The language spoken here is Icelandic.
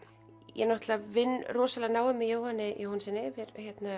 ég vinn rosalega náið með Jóhanni Jóhannssyni við